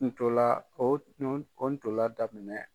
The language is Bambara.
Ntolan, o ntolan daminɛ.